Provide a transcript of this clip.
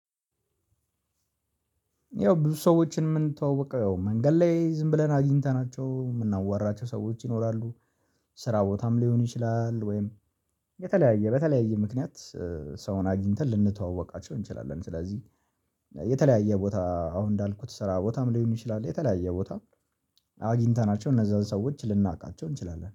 ያው ብዙ ሰዎችን የምንተዋወቀው ያው መንገድ ላይ ዝም ብለን አግኝተናቸው የምናዋራቸው ሰዎች ይኖራሉ። ስራ ቦታም ሊሆን ይችላል። ወይም የተለያየ በተለያየ ምክንያት ሰውን አግኝተን ልንተዋወቃቸው እንችላለን። ስለዚህ የተለያየ ቦታ አሁን እንዳልኩት ስራ ቦታም ሊሆን ይችላል። የተለያየ ቦታ አግኝተናቸው እነዛን ሰዎች ልናውቃቸው እንችላለን